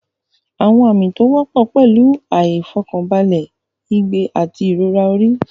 Àwọn àmì tí ó wọ́pọ̀ pẹ̀lú ìfọ̀kànbalẹ̀, ìgbẹ́, àti ìrora orí.